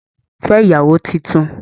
Fẹ ìyàwó títún!